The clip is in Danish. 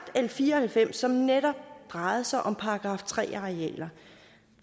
l fire og halvfems som netop drejer sig om § tre arealer